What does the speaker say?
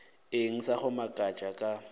eng sa go makatša ka